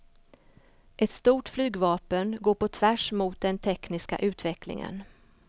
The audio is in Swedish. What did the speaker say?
Ett stort flygvapen går på tvärs mot den tekniska utvecklingen.